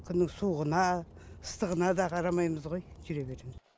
күннің суығына ыстығына да қарамаймыз ғой жүре береміз